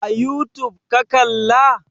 A youtube ka kalla?